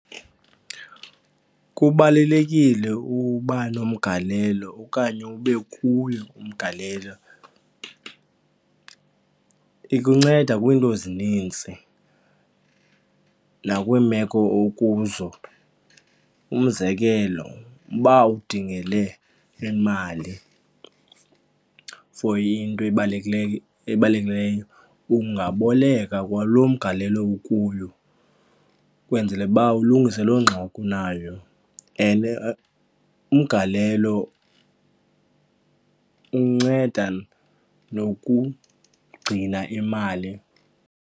Kubalulekile uba nomgalelo okanye ube kuyo umgalelo, ikunceda kwiinto ezinintsi nakwiimeko okuzo. Umzekelo uba udingele imali for into ebalulekileyo ebalulekileyo, ungaboleka kwalo mgalelo ukuyo ukwenzele uba ulungise loo ngxaki unayo and umgalelo unceda nokugcina imali.